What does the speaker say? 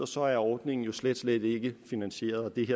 så er ordningen slet slet ikke finansieret og det